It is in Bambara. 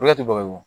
Ne ti balo